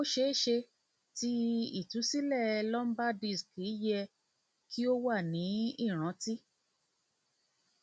o ṣeeṣe ti itusilẹ lumbar disc yẹ ki o wa ni iranti